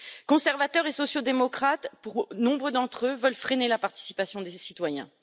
Conservateurs et sociaux démocrates, nombre d'entre eux veulent freiner la participation des citoyens.